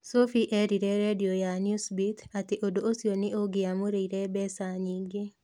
Sophie eerire redio ya Newsbeat atĩ ũndũ ũcio nĩ ũngĩamũrĩire mbeca nyingĩ.